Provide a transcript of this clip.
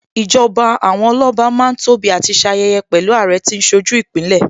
Ìjọba àwọn Ọlọ́ba Má ń tóbi àti ṣayẹyẹ pẹ̀lú Àrẹ tí ń ṣojú Ìpínlẹ̀